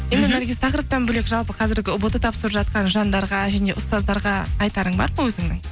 наргиз тақырыптан бөлек жалпы қазіргі ұбт тапсырып жатқан жандарға және ұстазтарға айтарың бар ма өзіңнің